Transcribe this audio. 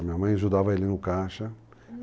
Minha mãe ajudava ele no caixa...